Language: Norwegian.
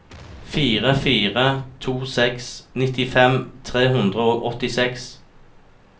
fire fire to seks nittifem tre hundre og åttiseks